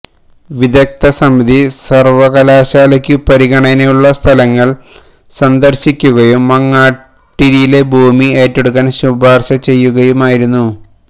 വിദഗ്ധ സമിതി സര്വകലാശാലയ്ക്കു പരിഗണനയിലുള്ള സ്ഥലങ്ങള് സന്ദര്ശിക്കുകയും മാങ്ങാട്ടിരിയിലെ ഭൂമി ഏറ്റെടുക്കാന് ശുപാര്ശ ചെയ്യുകയുമായിരുന്നു